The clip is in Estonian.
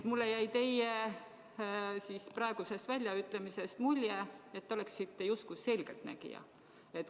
Mulle jäi teie praegusest väljaütlemisest mulje, et te olete justkui selgeltnägija.